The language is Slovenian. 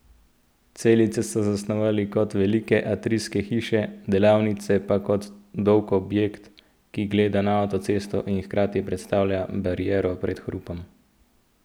Celice so zasnovali kot velike atrijske hiše, delavnice pa kot dolg objekt, ki gleda na avtocesto in hkrati predstavlja bariero pred hrupom.